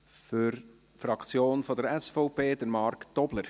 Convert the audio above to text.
Für die Fraktion SVP: Marc Tobler.